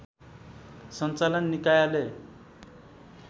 सञ्चालन निकायले